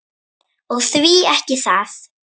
Og því ekki það?